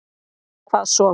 Hvað svo.